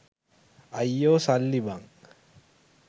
අයියෝ සල්ලි බං